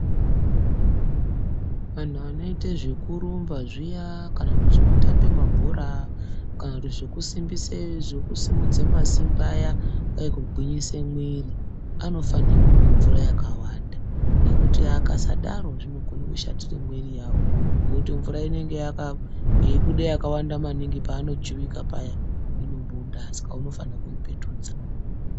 Anhu anoite zvekurumba zviya kana kuti zvekutambe mabhora kana kuti zvekusimudze masimbi aya kwai kugwinyise mwiri anofanire kumwe mvura yakawanda ngekuti akasadaro zvinokone kushatire mwiri yawo ngokuti mvura inenge yemuda yakawanda maningi paanojuwika paya saka unofanire kuipetudza.